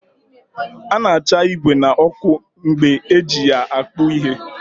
A na-acha igwè n'ọkụ mgbe eji ya akpụ ihe